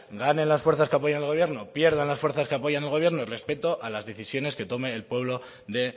ganen las fuerzas que apoyen el gobierno pierdan las fuerzas que apoyen el gobierno respeto a las decisiones que tome el pueblo de